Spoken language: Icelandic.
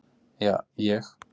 Ja, ég.